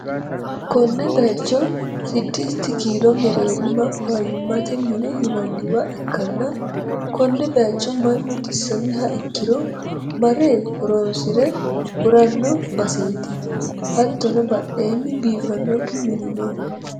konne bayicho siddisit kiilo mereerima fayyimmate mine yinanniwa ikkanna, konne bayicho mannu xisamiha ikkiro mare horonsi're hu'ranno baseeti, hatttono badheenni biifannokki mini no.